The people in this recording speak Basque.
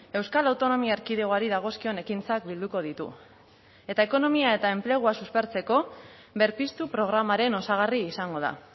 euskal autonomia erkidegoari dagozkion ekintzak bilduko ditu eta ekonomia eta enplegua suspertzeko berpiztu programaren osagarri izango da